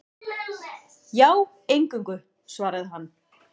Já, eingöngu, svaraði hann.